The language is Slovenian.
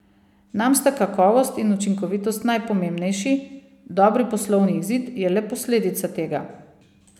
Nam sta kakovost in učinkovitost najpomembnejši, dobri poslovni izid je le posledica tega.